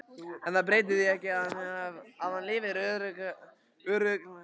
En það breytir því ekki að hann lifir örugglega áfram.